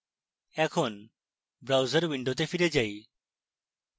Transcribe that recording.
এখন browser window ফিরে যাই